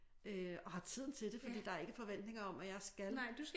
Øh og har tiden til det fordi der ikke forventninger om at jeg skal